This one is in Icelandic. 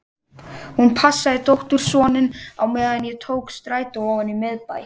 Hún passaði dóttursoninn á meðan ég tók strætó ofan í miðbæ.